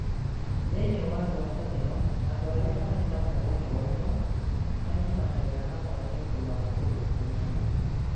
Thĩiniĩ wa ngwatanĩro, andũ marĩ na muoroto ũmwe manyitanagĩra hamwe nĩ ũndũ wa ũndũ ũmwe